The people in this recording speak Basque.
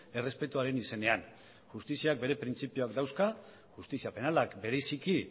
errespetuaren izenean justiziak bere printzipioak dauzka justizia penalak bereziki